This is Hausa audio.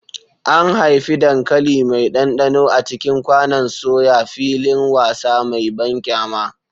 An haifi dankali mai ɗanɗano a cikin kwanon soya, filin wasa mai banƙyama.